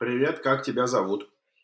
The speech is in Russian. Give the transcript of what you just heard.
привет как тебя зовут